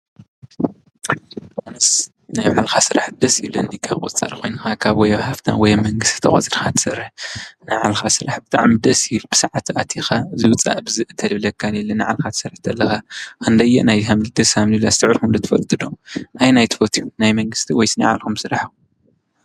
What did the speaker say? ኣነስ ናይ ባዕልካ ስራሕ ደስ ይብለኒ። ካብ ቁፃር ኮይንካ ካብ ኣብ ሃፍታም ወይ ኣብ መንግስቲ ተቆፅርካ ትሰርሕ ናይ ባዕልካ ስራሕ ብጣዕሚ ደስ ይብለኒ። ብስዓትካ ኣቲካ ወፂካ በዚ እተይ ዝብለካ ዘየለ ናይ ባዕልካ ክትሰርሕ ከለካ ክንደይናይ ደስ ከምዝብል ኣስተውዕልኩም ትፈልጡ ዶ? ናይ መን ትፈትው ናይ ምንግስቲ ዶ ወይስ ናይ ባልኩም ስራሕ?